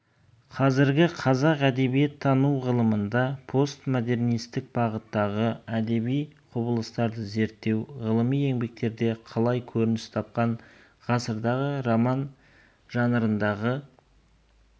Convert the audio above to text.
қазіргі қазақ әдебиеттану ғылымында постмодернисттік бағыттағы әдеби құбылыстарды зерттеу ғылыми еңбектерде қалай көрініс тапқан ғасырдағы роман жанрындағы